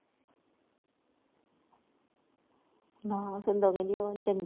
ਨਾਂ ਹਿੰਦੂ ਕਹਿੰਦੇ ਉਹ ਨਹੀਂ ਚੰਗੀ